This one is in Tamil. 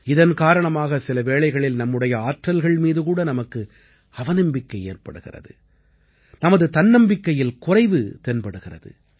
இதன் காரணமாக சில வேளைகளில் நம்முடைய ஆற்றல்கள் மீதுகூட நமக்கு அவநம்பிக்கை ஏற்படுகிறது நமது தன்னம்பிக்கையில் குறைவு தென்படுகிறது